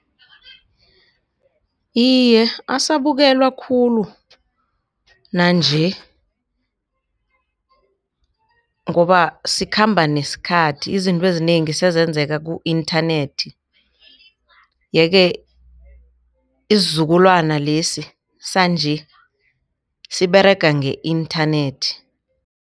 Iye, asabukelwa khulu nanje ngoba sikhamba nesikhathi izintwezi zinengi senzeka ku-internet yeke isizukulwana lesi sanje siberega nge-internet.